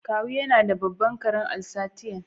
Kawu yana da babban karen Alsatian.